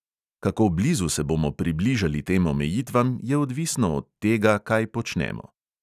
Kako blizu se bomo približali tem omejitvam, je odvisno od tega, kaj počnemo.